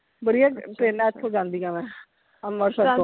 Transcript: ਬੜੀਆਂ trains ਇਥੋਂ ਜਾਂਦੀਆਂ ਵਾ ਅੰਮ੍ਰਿਤਸਰ,